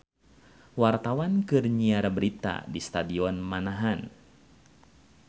Wartawan keur nyiar berita di Stadion Manahan